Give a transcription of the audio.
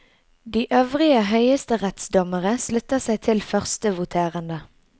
De øvrige høyesterettsdommere slutta seg til førstevoterende.